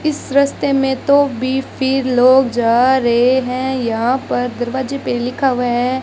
इस रस्ते में तो भी फिर लोग जा रहे हैं यहां पर दरवाजे पे लिखा हुआ है।